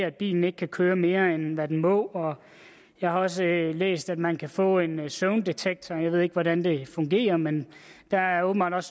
at bilen ikke kan køre mere end hvad den må jeg har også læst at man kan få en søvndetektor jeg ved ikke hvordan det fungerer men der er åbenbart